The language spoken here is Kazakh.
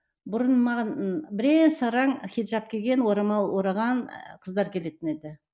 бұрын маған ы бірен саран хиджап киген орамал ораған ы қыздар келетін еді